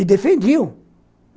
E defendiam.